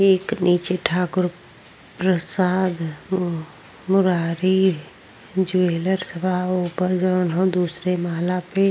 एक नीचे ठाकुर प्रसाद मुरारी ज्वेलर्स बा। ओप जोन ह दूसरे माला पे --